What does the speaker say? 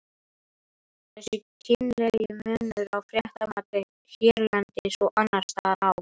Þessi kynlegi munur á fréttamati hérlendis og annarstaðar á